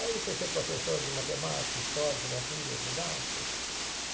Aí fui ser professor de matemática, história, geografia, didática.